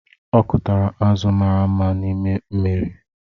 Ọ kụtara azụ̀ mara mma n’ime mmiri.